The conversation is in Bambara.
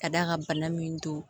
Ka d'a kan bana min don